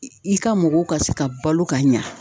I i ka mɔgɔw ka se ka balo ka ɲa